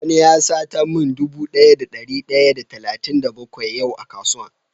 Wani ya sata min dude Daya da dari daya da talatin da bakwai yau a kasuwan.